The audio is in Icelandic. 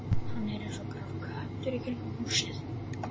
Hann er eins og grár köttur í kringum húsið.